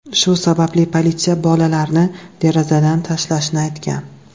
Shu sababli politsiya bolalarni derazadan tashlashni aytgan.